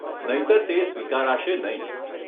નહીંતર તે સ્વીકારાશે નહીં.